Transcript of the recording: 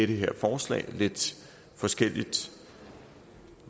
det her forslag lidt forskelligt